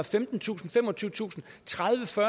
femtentusind femogtyvetusind tredivetusind